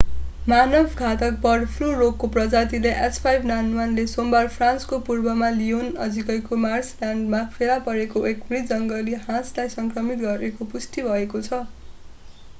मानवमा घातक bird flu रोगको प्रजाति h5n1 ले सोमबार फ्रान्सको पूर्वमा लियोन नजिकै मार्सलल्यान्डमा फेला परेको एक मृत जङ्गली हाँसलाई संक्रमित गरेको पुष्टि भएको छ।